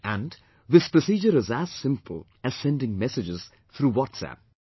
And, this procedure is as simple as sending messages through WhatsApp